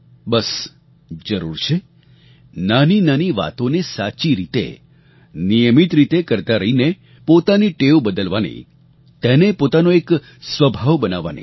બસ જરૂર છે નાનીનાની વાતોને સાચી રીતે નિયમિત રીતે કરતા રહીને પોતાની ટેવ બદલવાની તેને પોતાનો એક સ્વભાવ બનાવવાની